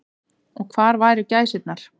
Og hvar væru gæsirnar.